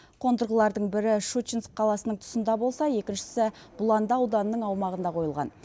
қондырғылардың бірі щучинск қаласының тұсында болса екіншісі бұланды ауданының аумағында қойылған